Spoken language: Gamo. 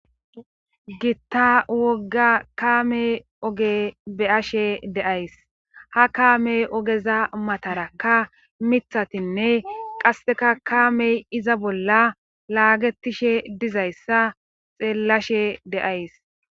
Gitta wogga kaame oge be ashe deays ha kaamey ogeza matara ka mithatinne qasseka kaamey iza bolla laagetishe dizayssa xeellashe deays